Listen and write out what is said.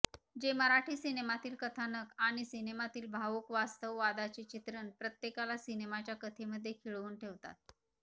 जे मराठी सिनेमातील कथानक आणि सिनेमातील भावूक वास्तव वादाचे चित्रण प्रत्येकाला सिनेमाच्या कथेमध्ये खिळवून ठेवतात